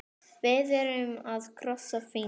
Við erum að krossa fingur.